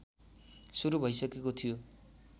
सुरु भइसकेको थियो